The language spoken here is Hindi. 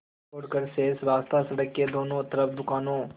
छोड़कर शेष रास्ता सड़क के दोनों तरफ़ दुकानों